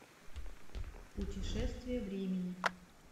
путешествие времени